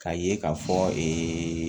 K'a ye k'a fɔ